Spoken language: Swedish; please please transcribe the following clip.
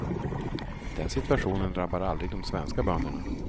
Den situationen drabbar aldrig de svenska bönderna.